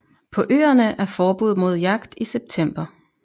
På øerne er forbud mod jagt i september